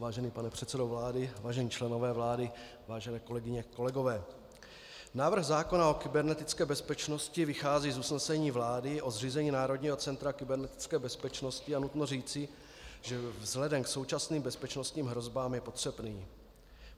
Vážený pane předsedo vlády, vážení členové vlády, vážené kolegyně, kolegové, návrh zákona o kybernetické bezpečnosti vychází z usnesení vlády o zřízení Národního centra kybernetické bezpečnosti, a nutno říci, že vzhledem k současným bezpečnostním hrozbám je potřebný.